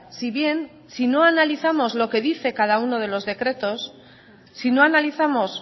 si bien si no analizamos lo que dice cada uno de los decretos si no analizamos